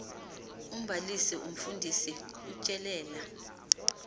umbalisi umfundisi utyelela